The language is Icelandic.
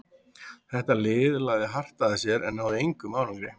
Þetta lið lagði hart að sér en náði engum árangri.